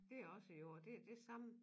Det også jord det det samme